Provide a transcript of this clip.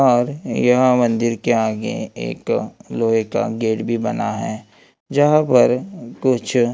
और यह मंदिर के आगे एक लोहे का गेट भी बना है जहां पर कुछ--